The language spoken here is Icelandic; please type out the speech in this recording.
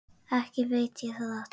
Ekki veit ég það.